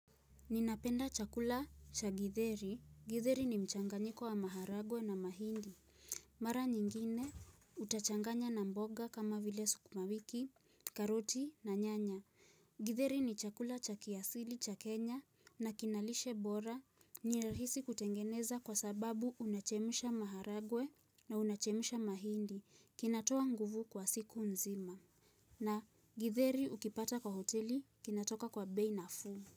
Ninapenda chakula cha githeri. Githeri ni mchanganyiko wa maharagwe na mahindi. Mara nyingine utachanganya na mboga kama vile sukumawiki, karoti na nyanya. Githeri ni chakula cha kiasili cha Kenya na kina lishe bora. Nirahisi kutengeneza kwa sababu unachemsha maharagwe na unachemsha mahindi. Kinatoa nguvu kwa siku nzima. Na githeri ukipata kwa hoteli kinatoka kwa bei nafuu.